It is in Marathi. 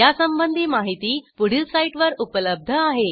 यासंबंधी माहिती पुढील साईटवर उपलब्ध आहे